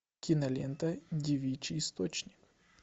кинолента девичий источник